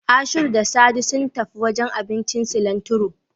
Ashiru da Sadi sun tafi wajen abincin Silantiro.